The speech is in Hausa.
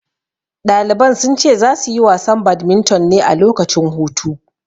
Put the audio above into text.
Ɗaliban sun ce za su yi wasan badminton ne a lokacin hutu.